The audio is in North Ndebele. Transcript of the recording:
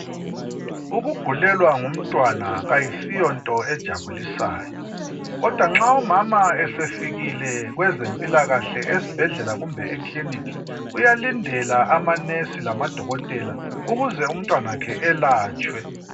Ukugulelwa ngumntwana ayisiyo nto ejabulisayo. Kodwa nxa umama esefikile kwezempilakahle esibhedlela kumbe eclinic uyalindela ama nurse lamadokotela ukuze umtanakhe elatshwe.